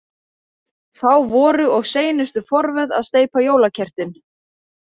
Þá voru og seinustu forvöð að steypa jólakertin.